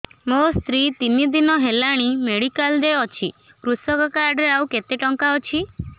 ମୋ ସ୍ତ୍ରୀ ତିନି ଦିନ ହେଲାଣି ମେଡିକାଲ ରେ ଅଛି କୃଷକ କାର୍ଡ ରେ ଆଉ କେତେ ଟଙ୍କା ଅଛି